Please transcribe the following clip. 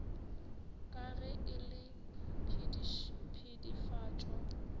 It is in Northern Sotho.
ka ge e le pedifatšo